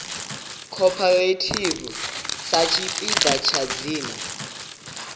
cooperative sa tshipiḓa tsha dzina